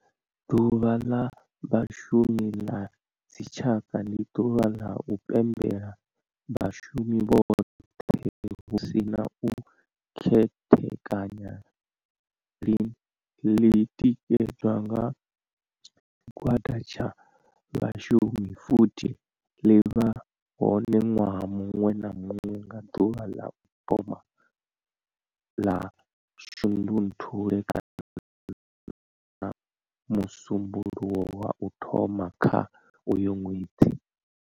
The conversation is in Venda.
Ḓuvha la Vhashumi la dzi tshaka ndi duvha la u pembela vhashumi vhothe hu si na u khethekanya line li tikedzwa nga tshigwada tsha vhashumi futhi li vha hone nwaha munwe na munwe nga duvha la u thoma 1 la Shundunthule kana musumbulowo wa u thoma kha uyo nwedzi.